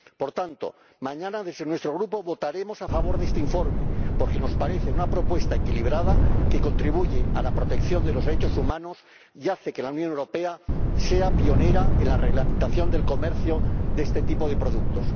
Por tanto, mañana, desde nuestro Grupo, votaremos a favor de este informe, porque nos parece una propuesta equilibrada que contribuye a la protección de los derechos humanos y hace que la Unión Europea sea pionera en la reglamentación del comercio de este tipo de productos.